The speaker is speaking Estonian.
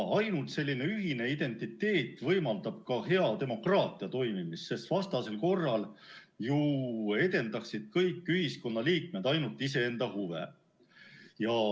Ainult selline ühine identiteet võimaldab ka hea demokraatia toimimist, sest vastasel korral edendaksid kõik ühiskonna liikmed ju ainult iseenda huve.